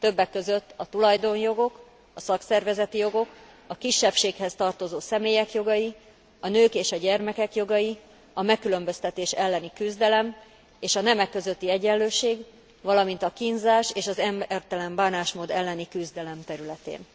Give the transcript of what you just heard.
többek között a tulajdonjogok, a szakszervezeti jogok, a kisebbséghez tartozó személyek jogai, a nők és a gyermekek jogai, a megkülönböztetés elleni küzdelem és a nemek közötti egyenlőség, valamint a kínzás és az embertelen bánásmód elleni küzdelem területén.